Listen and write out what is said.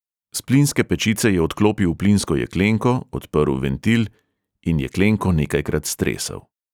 S plinske pečice je odklopil plinsko jeklenko, odprl ventil in jeklenko nekajkrat stresel.